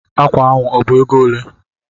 Ákwà ahụ ọ bụ égo olé?